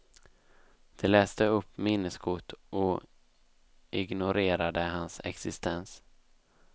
De läste upp minneskort och ignorerade hans existens.